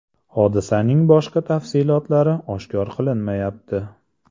Hodisaning boshqa tafsilotlari oshkor qilinmayapti.